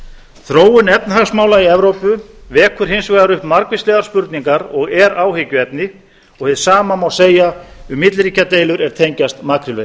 þróun efnahagsmála í evrópu vekur hins vegar upp margvíslegar spurningar og er áhyggjuefni hið sama má segja um milliríkjadeilur er tengjast makrílveiðum